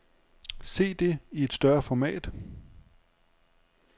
Se det i et større format.